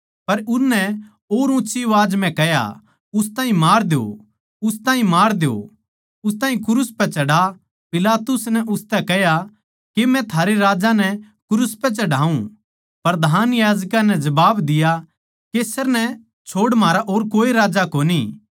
पर उननै किल्की मारी उस ताहीं मार द्यो उस ताहीं मार द्यो उस ताहीं क्रूस पै चढ़ा पिलातुस नै उनतै कह्या के मै थारे राजा नै क्रूस पै चढ़ाऊँ प्रधान याजकां नै जबाब दिया कैसर नै छोड़ म्हारा और कोए राजा कोनी